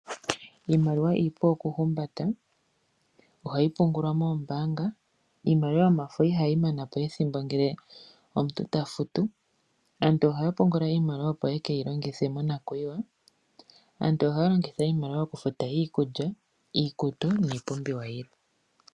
Iimaliwa iipu okuhumba ta ohayi pungulwa moombanga iimaliwa yomafo ihayi manapo ethimbo ngele omuntu tafutu, aantu ohaya pungula iimaliwa opo yeke yilongithe mona kuyiwa, aantu ohaya longitha iimaliwa okufuta iikulya iikutu niipumbiwa yilwe.